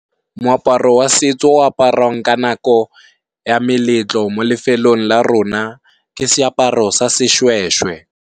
Moaparo wa setso o aparwang ka nako ya meletlo mo lefelong la rona, ke seaparo sa seshweshwe.